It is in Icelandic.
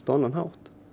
á annan hátt